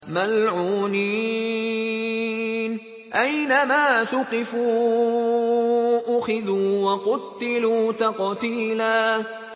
مَّلْعُونِينَ ۖ أَيْنَمَا ثُقِفُوا أُخِذُوا وَقُتِّلُوا تَقْتِيلًا